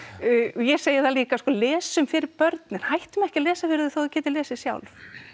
ég segi það líka sko lesum fyrir börnin hættum ekki að lesa fyrir þau þó þau geti lesið sjálf